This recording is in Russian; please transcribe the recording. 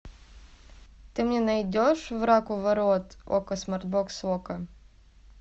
ты мне найдешь враг у ворот окко смарт бокс окко